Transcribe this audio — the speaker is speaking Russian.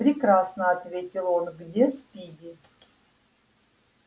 прекрасно ответил он где спиди